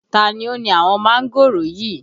Ta ni ó ni àwọn mángòrò yìí?